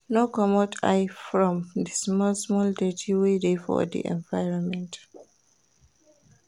No comot eye from di small small dirty wey dey for di environment